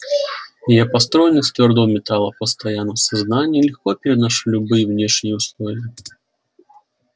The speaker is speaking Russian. я построен из твёрдого металла постоянно в сознании легко переношу любые внешние условия